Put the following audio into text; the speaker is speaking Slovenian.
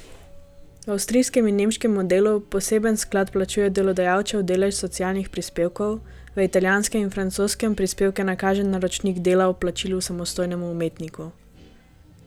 V avstrijskem in nemškem modelu poseben sklad plačuje delodajalčev delež socialnih prispevkov, v italijanskem in francoskem prispevke nakaže naročnik dela ob plačilu samostojnemu umetniku.